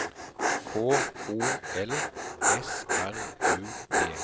K O L S R U D